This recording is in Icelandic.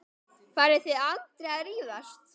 Farið þið aldrei að rífast?